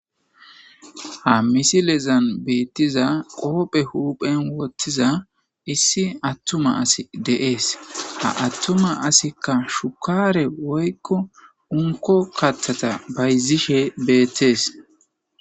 ha misilezan beettiza qoophe huuphen wottiza issi attuma asi deees ha attuma asikka shukaare woykko unko kathata bayzishe beettees